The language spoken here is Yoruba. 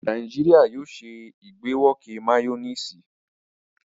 Nàìjíríà yóò ṣe ìgbàwọké máyónísì.